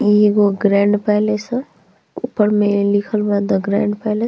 इ एगो grand palace ह उपर में लिखल बा द ग्रांड पैलेस ।